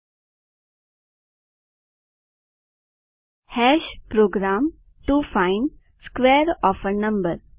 program to find square of a number